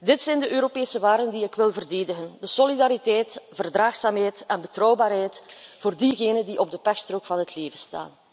Dit zijn de Europese waarden die ik wil verdedigen solidariteit, verdraagzaamheid en betrouwbaarheid voor diegenen die op de pechstrook van het leven staan.